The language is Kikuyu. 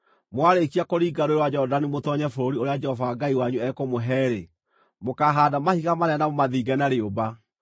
Mwarĩkia kũringa Rũũĩ rwa Jorodani mũtoonye bũrũri ũrĩa Jehova Ngai wanyu ekũmũhe-rĩ, mũkaahaanda mahiga manene na mũmathinge na rĩũmba.